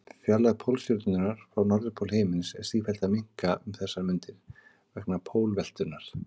Fjarlægð Pólstjörnunnar frá norðurpól himins er sífellt að minnka um þessar mundir vegna pólveltunnar.